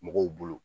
Mɔgɔw bolo